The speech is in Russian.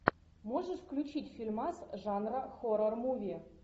можешь включить фильмас жанра хоррор муви